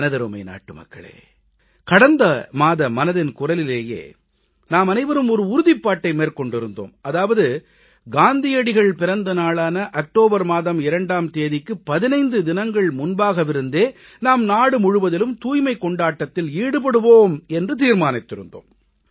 எமதருமை நாட்டுமக்களே கடந்த மாத மனதின் குரலிலேயே நாமனைவரும் ஒரு உறுதிப்பாட்டை மேற்கொண்டிருந்தோம் அதாவது காந்தியடிகள் பிறந்த நாளான அக்டோபர் மாதம் 2ஆம் தேதிக்கு 15 தினங்கள் முன்பாகவிருந்தே நாம் நாடுமுழுவதிலும் தூய்மைக் கொண்டாட்டத்தில் ஈடுபடுவோம் என்று தீர்மானித்திருந்தோம்